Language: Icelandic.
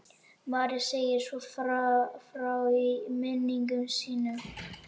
María segir svo frá í minningum sínum